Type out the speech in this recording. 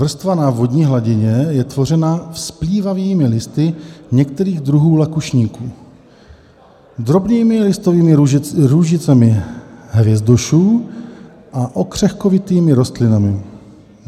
Vrstva na vodní hladině je tvořena vzplývavými listy některých druhů lakušníků, drobnými listovými růžicemi hvězdošů a okřehkovitými rostlinami.